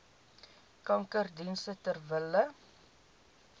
kankerdienste ter wille